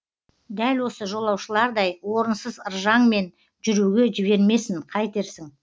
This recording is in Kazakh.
дәл осы жолаушылардай орынсыз ыржаңмен жүруге жібермесін қайтерсің